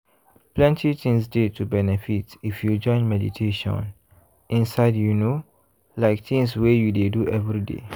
plenty things dey to benefit if you join meditation inside you know like tins wey you dey do everyday.